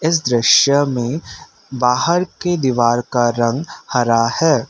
इस दृश्य में बाहर के दीवार का रंग हरा है।